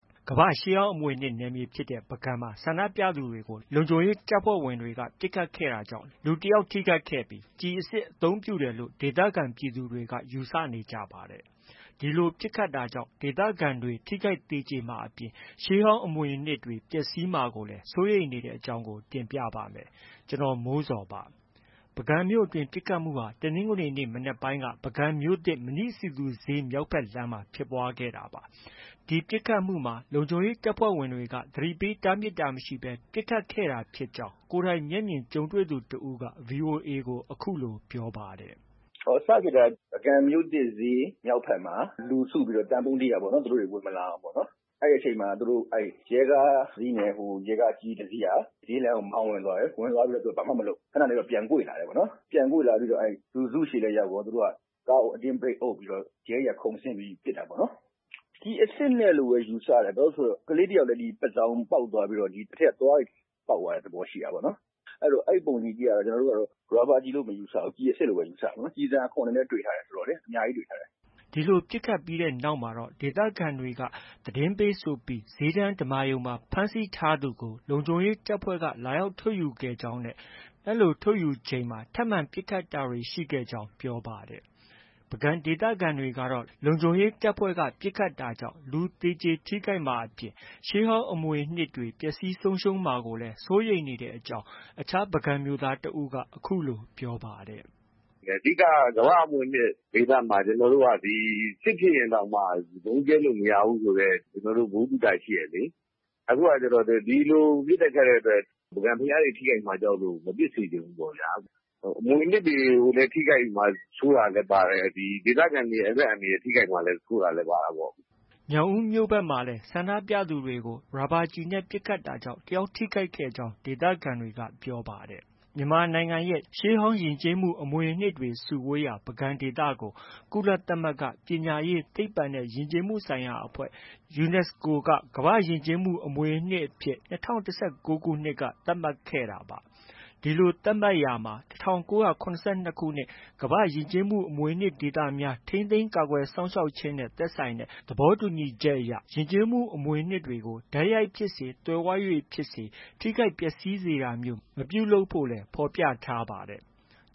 ကမ္ဘာရှေးဟောင်းအမွေအနှစ်နယ်မြေဖြစ်တဲ့ပုဂံမှာ ဆန္ဒပြသူတွေကို လုံခြုံရေးတပ်ဖွဲ့ဝင်တွေ ပစ်ခတ်တာကြောင့် လူတယောက်ထိခိုက်ခဲ့ပြီး ကျည်အစစ်အသုံးပြုတယ်လို့ ဒေသခံပြည်သူ တွေကယူဆနေကြပါတယ်။ ဒီလို ပစ်ခတ်တာကြောင့် ဒေသခံတွေဟာ လူထိခိုက်သေကျေမှာအပြင် ရှေးဟောင်းအမွေအနှစ်တွေ ပျက်စီးမှာ ကိုလည်း စိုးရိမ်နေကြတဲ့အကြောင်းကို ကိုမိုးဇော်က တင်ပြပေးထားပါတယ်။ ပုဂံမြို့အတွင်းပစ်ခတ်တာဟာ တနင်္ဂနွေနေ့မနက်ပိုင်းက ပုဂံမြို့သစ် မဏိစည်သူဈေးမြောက်ဘက် လမ်းမှာ ဖြစ်ပွားခဲ့တာပါ။ မပစ်ခတ်ခင်မှာ လုံခြုံရေးတပ်ဖွဲ့က ကြိုတင်သတိပေးတားမြစ်တာမရှိဘဲ ပစ်ခတ်ခဲ့တာဖြစ်ကြောင်း VOA ကို ကိုယ်တိုင်မျက်မြင်ကြုံတွေသူတဦးက အခုလို ပြောပြပါတယ်။ “စဖြစ်တာက ပုဂံမြို့သစ်ဈေးမြောက်ဘက်လမ်းမှာ လူစုပြီးတော့ သံပုံးတီးတာပေါ့နော်။ သူတို့ ဝင် မလာအောင်။ အဲဒီအချိန် မှာ သူတို့ ရဲကားတစ်စီးနဲ့ ရဲကား အကြီးကြီးတစီးက ဈေးလမ်းကို မောင်းဝင်သွားတယ်။ သူတို့ဘာမှမလုပ်ဘူး။ ခနနေတော့ ပြန်ကွေ့လာတယ်။ ပြန်ကွေ့လာပြီးတော့ လူစုဆီလည်း ရောက်ရော ကားကို အတင်းဘရိတ်အုပ်ပြီးတော့ ရဲတွေက ခုန်ဆင်းပြီး ပစ်တာပေါ့နော်။ ကျည်အစစ်နဲ့လို့ပဲ ယူဆတယ်။ ဘာလို့လဲဆိုတော့ ကလေးတယောက်လည်း ပါးစောင်ပေါက် သွားပြီး တော့ အထဲက သွားတွေလည်း ပေါက်သွားတဲ့ သဘောရှိတာပေါ့နော်။ အဲတော့ အဲဒီပုံတွေကြည့်ရ တာတော့ ကျနော်တို့က ရာဘာကျည်လို့ မယူဆဘူး။ ကျည်အစစ်လို့ပဲ ယူဆတယ်။ ကျည်ဆံအခွံ တွေလည်း တွေ့ထားတယ်ဆိုတော့ အများကြီးတွေ့ထားတယ်။” အဲဒီလို ပစ်ခတ်ပြီးနောက်မှတော့ ဒေသခံတွေက သတင်းပေးဆိုပြီး ဈေးတန်းဓမ္မာရုံမှာ ဖမ်းဆီးထား သူကို လုံခြုံရေးတပ်ဖွဲ့က လာရောက်ထုတ်ယူခဲ့ကြောင်းနဲ့ လိုထုတ်ယူချိန်မှာ ထပ်မံပစ်ခတ်တာတွေ ရှိခဲ့ကြောင်း ပြောပါတယ်။ ပုဂံဒေသခံတွေကတော့ လုံခြုံရေးတပ်ဖွဲ့ကပစ်ခတ်တာကြောင့် လူသေကျေထိခိုက်မှာအပြင် ရှေးဟောင်းအမွေအနှစ်တွေ ပျက်စီးမှာကိုလည်း စိုးရိမ်နေကြတဲ့အကြောင်း အခြားပုဂံမြို့သားတဦးက အခုလိုပြောပါတယ်။ “အဓိကက ကမ္ဘာအမွေအနှစ်ဒေသမှာ စစ်ဖြစ်ရင်တောင်မှ ဗုံးကြဲလို့ မရဘူးဆိုတဲ့ ကျနော်တို့ ဗဟု သုတ ရှိတယ်လေ။ အခုကကျတော့ ဒီလိုပစ်တဲ့ခတ်တဲ့အတွက် ပုဂံဘုရားတွေ ထိခိုက်မှာကြောက်လို့ မပစ်စေချင်ဘူးပေါ့ဗျာ။ အမွေအနှစ်တွေကို ထိခိုက်မှာစိုးတာလည်းပါတယ်။ ဒီဒေသခံတွေ အသက်အန္တရာယ်ထိခိုက်မှာ စိုးတာလည်း ပါတာပေါ့။ ” ညောင်ဦးမြို့ဘက်မှာလည်း ဆန္ဒပြသူတွေကို ရာဘာကျည်နဲ့ ပစ်ခတ်တာကြောင့် တယောက် ထိခိုက်ကြောင်း ဒေသခံတွေက ပြောပါတယ်။ မြန်မာနိုင်ငံရဲ့ ရှေးဟောင်းယဉ်ကျေးမှု အမွေအနှစ်တွေစုဝေးရာ ပုဂံဒေသကို ကုလသမဂ္ဂ ပညာရေး၊ သိပ္ပံနဲ့ ယဉ်ကျေးမှုဆိုင်ရာအဖွဲ့ UNESCO က ကမ္ဘာ့ယဉ်ကျေးမှုအမွေအနှစ်အဖြစ် ၂၀၁၉ခုနှစ် က သတ်မှတ်ခဲ့တာပါ။ ဒီလို သတ်မှတ်ရာမှာ ၁၉၇၂ခုနှစ် ကမ္ဘာယဉ်ကျေးမှုအမွေအနှစ်ဒေသများ ထိန်းသိမ်း ကာကွယ်စောင့်ရှောက်ခြင်းနဲ့ သက်ဆိုင်တဲ့ သဘောတူညီချက်မှာ ယဉ်ကျေးမှု အမွေ အနှစ်တွေကို တိုက်ရိုက်ဖြစ်စေ၊ သွယ်ဝိုက်၍ဖြစ်စေ ထိခိုက်ပျက်ဆီးစေတာမျိုး မပြုလုပ်ဖို့လည်း ဖော်ပြထားပါတယ်။